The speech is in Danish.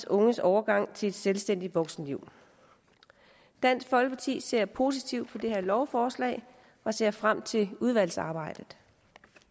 unges overgang til et selvstændigt voksenliv dansk folkeparti ser positivt på det her lovforslag og ser frem til udvalgsarbejdet